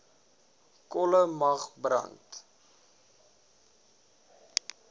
kolle mag brand